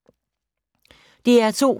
DR2